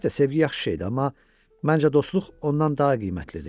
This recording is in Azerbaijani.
Əlbəttə sevgi yaxşı şeydir, amma məncə dostluq ondan daha qiymətlidir.